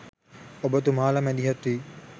ඔබ තුමාල මැදිහත්වී